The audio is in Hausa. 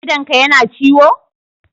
Idonka yana ciwo?